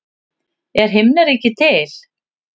Er himnaríki til?